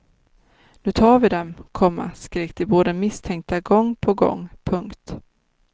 Nu tar vi dem, komma skrek de båda misstänkta gång på gång. punkt